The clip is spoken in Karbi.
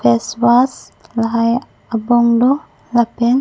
face wash lahai abong do lapen--